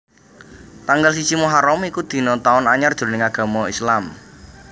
Tanggal siji Muharram iku dina Taun Anyar jroning agama Islam